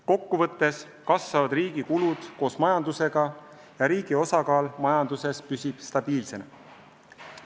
Kokku võttes kasvavad riigi kulud koos majandusega ja riigi osakaal majanduses püsib stabiilsena.